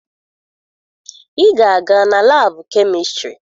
Ị ga-aga na laabụ kemistịrị!